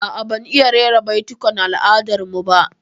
A'a, ban iya rera baitukan al'adar mu ba